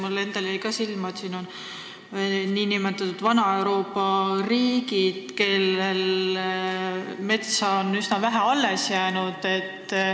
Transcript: Mulle endale jäi ka silma, et liikmeskonnas on ka nn vana Euroopa riigid, kellel metsa on üsna vähe alles jäänud.